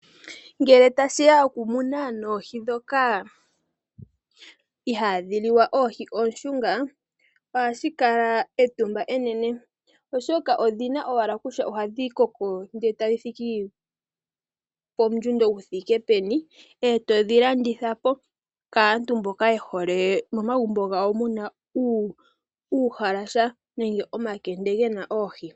Ngele tashi ya pokumuna noohi ndhoka ihadhi liwa oohi oonshunga ohashi kala etumaba enene oshoka odhina owala kutya ohadhi koko nde etadhi thiki pomundjundo gu thike peni etodhi landithapo kaantu mboka yehole momagumbo gawo muna uuhalasa nenge omakende gena oohi.